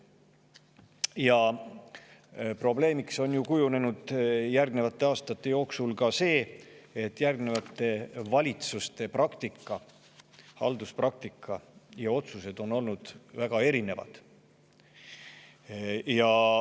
Sellele järgnevate aastate jooksul on kujunenud probleemiks ka see, et järgnevate valitsuste praktika, halduspraktika ja otsused selle kohta on olnud väga erinevad.